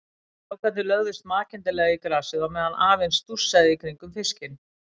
Strákarnir lögðust makindalega í grasið á meðan afinn stússaði í kringum fiskinn.